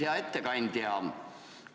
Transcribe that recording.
Hea ettekandja!